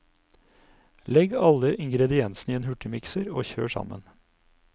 Legg alle ingrediensene i en hurtigmikser og kjør sammen.